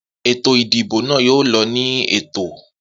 Eto ìdìbò nà yóò lọ ni Ètò